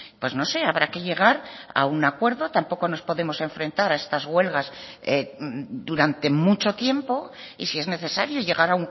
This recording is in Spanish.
pues no sé habrá que llegar a un acuerdo tampoco nos podemos enfrentar a estas huelgas durante mucho tiempo y si es necesario llegar